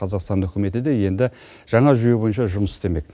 қазақстан үкіметі де енді жаңа жүйе бойынша жұмыс істемек